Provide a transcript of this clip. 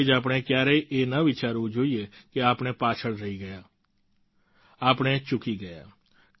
તેથી જ આપણે ક્યારેય એ ન વિચારવું જોઈએ કે આપણે પાછળ રહી ગયા આપણે ચૂકી ગયા